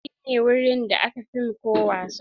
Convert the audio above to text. Saita shi ne wurin da aka fim ko wasa.